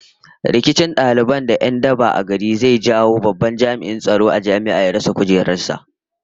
Rikicin daliban da 'yan daba a gari zai jawo babban jami'in tsaron jami'a ya rasa kujerar sa